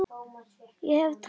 Ég hef talað